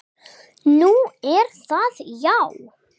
Nú, er það já.